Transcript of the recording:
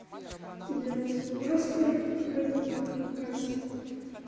я свой паспорт показываю как на кассе